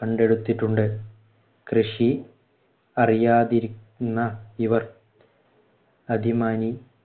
കണ്ടെടുത്തിട്ടുണ്ട്. കൃഷി അറിയാതിരുന്ന ഇവർ